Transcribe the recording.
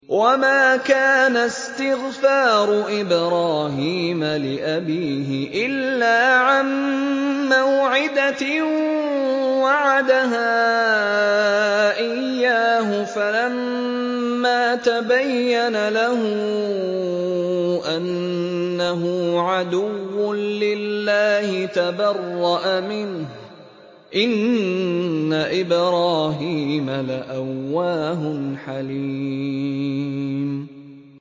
وَمَا كَانَ اسْتِغْفَارُ إِبْرَاهِيمَ لِأَبِيهِ إِلَّا عَن مَّوْعِدَةٍ وَعَدَهَا إِيَّاهُ فَلَمَّا تَبَيَّنَ لَهُ أَنَّهُ عَدُوٌّ لِّلَّهِ تَبَرَّأَ مِنْهُ ۚ إِنَّ إِبْرَاهِيمَ لَأَوَّاهٌ حَلِيمٌ